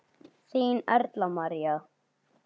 Þín, Erla María.